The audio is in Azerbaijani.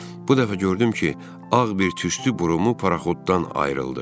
Bu dəfə gördüm ki, ağ bir tüstü burumu paraxotdan ayrıldı.